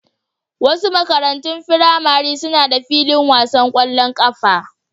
Wasu makarantun firamare suna da filin wasan kwallon kafa.